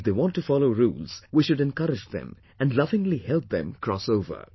If they want to follow rules, we should encourage them, and lovingly help them cross over